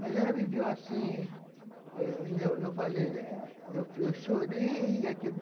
Mas ela viveu assim ãh... Eu falei ãh... Eu eu chorei.